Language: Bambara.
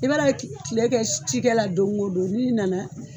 I kile kɛ cikɛla la don o don n'i na na